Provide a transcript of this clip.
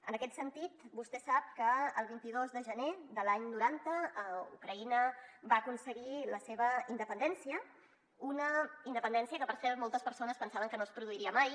en aquest sentit vostè sap que el vint dos de gener de l’any noranta ucraïna va aconseguir la seva independència una independència que per cert moltes persones pensaven que no es produiria mai